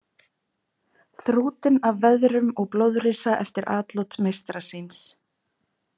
Þrútinn af veðrum og blóðrisa eftir atlot meistara síns.